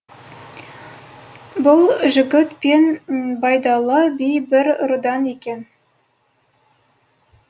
бұл жігіт пен байдалы би бір рудан екен